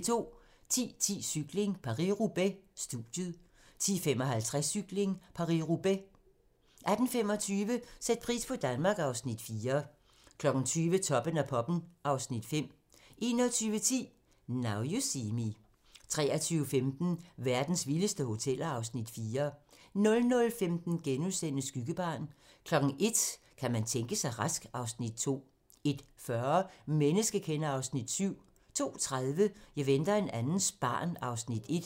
10:10: Cykling: Paris-Roubaix - studiet 10:55: Cykling: Paris-Roubaix 18:25: Sæt pris på Danmark (Afs. 4) 20:00: Toppen af poppen (Afs. 5) 21:10: Now You See Me 23:15: Verdens vildeste hoteller (Afs. 4) 00:15: Skyggebarn * 01:00: Kan man tænke sig rask? (Afs. 2) 01:40: Menneskekender (Afs. 7) 02:30: Jeg venter en andens barn (Afs. 1)